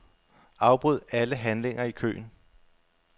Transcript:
Afbryd alle handlinger i køen.